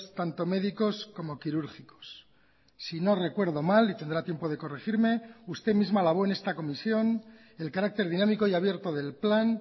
tanto médicos como quirúrgicos si no recuerdo mal y tendrá tiempo de corregirme usted misma alabó en esta comisión el carácter dinámico y abierto del plan